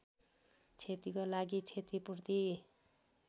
क्षतिको लागि क्षतिपूर्ति